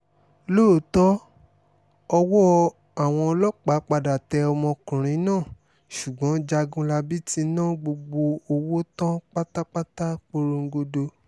lóòótọ́ ọwọ́ àwọn ọlọ́pàá padà tẹ ọmọkùnrin náà ṣùgbọ́n jágunlábí ti ná gbogbo owó tán pátápátá porongodo